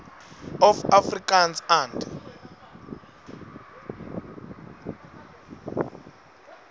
of afrikaans and